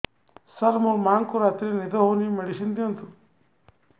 ସାର ମୋର ମାଆଙ୍କୁ ରାତିରେ ନିଦ ହଉନି ମେଡିସିନ ଦିଅନ୍ତୁ